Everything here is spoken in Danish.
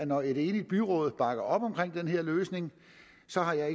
når et enigt byråd bakker op om den her løsning